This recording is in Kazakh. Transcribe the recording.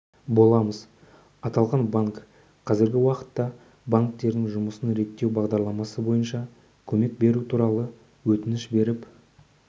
боламыз аталған банк қазіргі уақытта банктердің жұмысын реттеу бағдарламасы бойынша көмек беру туралы өтініш беріп